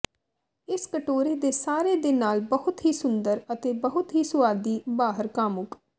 ਇਸ ਕਟੋਰੇ ਦੇ ਸਾਰੇ ਦੇ ਨਾਲ ਬਹੁਤ ਹੀ ਸੁੰਦਰ ਅਤੇ ਬਹੁਤ ਹੀ ਸੁਆਦੀ ਬਾਹਰ ਕਾਮੁਕ